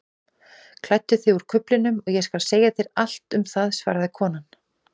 Klæddu þig úr kuflinum og ég skal segja þér allt um það svaraði konan.